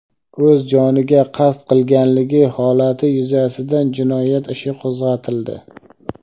o‘z joniga qasd qilganligi holati yuzasidan jinoyat ishi qo‘zg‘atildi.